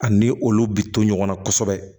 Ani olu bi to ɲɔgɔnna kosɛbɛ